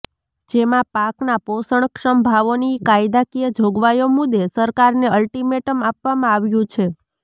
જેમાં પાકના પોષણક્ષમ ભાવોની કાયદાકીય જોગવાઈઓ મુદ્દે સરકારને અલ્ટિમેટમ આપવામાં આવ્યું છે